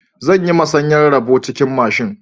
Zan yi masanyan roɓan cikin mashin.